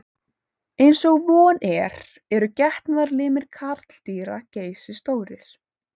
Eins og von er eru getnaðarlimir karldýra geysistórir.